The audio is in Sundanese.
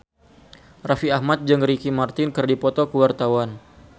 Raffi Ahmad jeung Ricky Martin keur dipoto ku wartawan